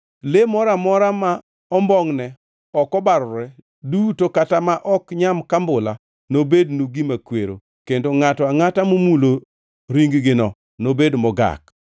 “ ‘Le moro amora ma ombongʼne ok obarore duto kata ma ok nyam kambula nobednu gima kwero, kendo ngʼato angʼata momulo ring-gino nobed mogak.